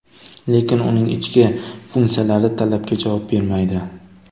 Lekin uning ichki funksiyalari talabga javob bermaydi.